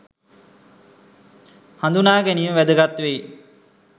හඳුනා ගැනීම වැදගත් වෙයි.